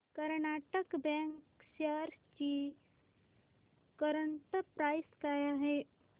Karnataka bank shares ची current price काय आहे